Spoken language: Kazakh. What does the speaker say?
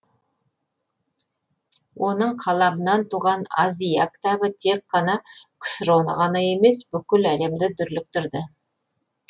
оның қаламынан туған аз и я кітабы тек қана ксро ны ғана емес бүкіл әлемді дүрліктірді